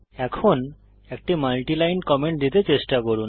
এখন একটি multiline comment দিতে চেষ্টা করুন